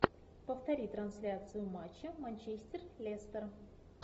повтори трансляцию матча манчестер лестер